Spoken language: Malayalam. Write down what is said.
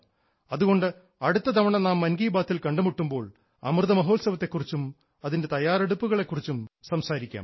അതുകൊണ്ട് അടുത്ത തവണ നാം മൻ കി ബാത്തിൽ കണ്ടുമുട്ടുമ്പോൾ അമൃതമഹോത്സവത്തെ കുറിച്ചും അതിൻറെ തയ്യാറെടുപ്പുകളെ കുറിച്ചും സംസാരിക്കാം